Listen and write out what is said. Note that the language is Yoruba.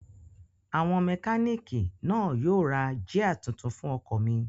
Àwọn mẹkánìkì náà yóò ra jíà tuntun fún ọkọ̀ mi